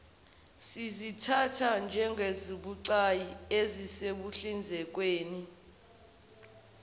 sizithatha njengezibucayi ekuhlinzekweni